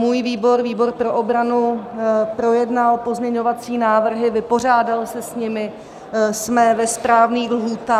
Můj výbor, výbor pro obranu, projednal pozměňovací návrhy, vypořádal se s nimi, jsme ve správných lhůtách -